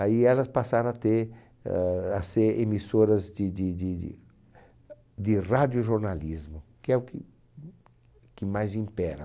Aí elas passaram a ter, a ser emissoras de de de de de radiojornalismo, que é o que, que mais impera.